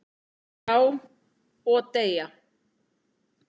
Já, og deyja